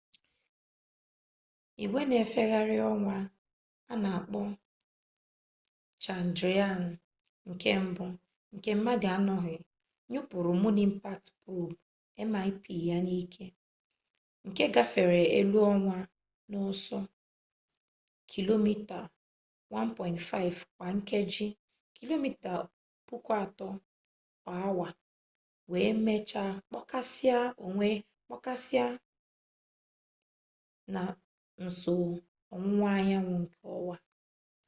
igwe nfegharị ọnwa a na-akpọ chandrayaan-1 nke mmadụ anọghị nyụpụrụ moon impact probe mip ya n'ike nke gbafere elu ọnwa n'ọsọ kilomita 1.5 kwa nkeji kilomita 3000 kwa awa wee mechaa kpọkasịa na nso ọwụwa anyanwụ nke ọnwa